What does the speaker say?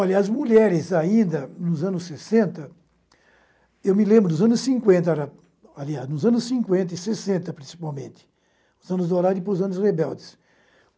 Olha, as mulheres ainda nos anos sessenta, eu me lembro dos anos cinquenta, aliás, nos anos cinquenta e sessenta principalmente, os anos dourados e depois os anos rebeldes.